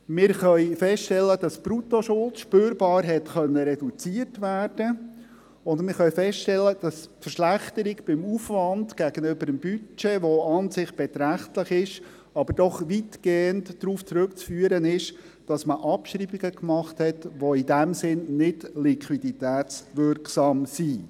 Wir können feststellen, dass die Bruttoschuld spürbar reduziert werden konnte, und wir können feststellen, dass die Verschlechterung beim Aufwand gegenüber dem Budget, die an sich beträchtlich ist, doch weitgehend darauf zurückzuführen ist, dass man Abschreibungen gemacht hat, die in diesem Sinne nicht liquiditätswirksam sind.